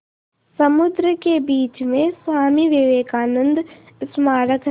समुद्र के बीच में स्वामी विवेकानंद स्मारक है